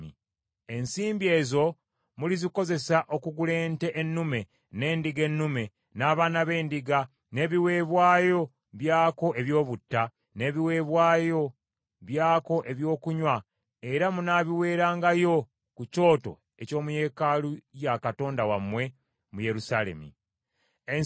Ensimbi ezo mulizikozesa okugula ente ennume, n’endiga ennume, n’abaana b’endiga, n’ebiweebwayo byako eby’obutta, n’ebiweebwayo byako ebyokunywa era munaabiweerangayo ku kyoto eky’omu yeekaalu ya Katonda wammwe mu Yerusaalemi.